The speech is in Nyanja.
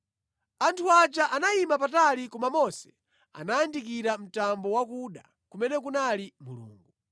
Anthu aja anayima patali koma Mose anayandikira mtambo wakuda kumene kunali Mulungu.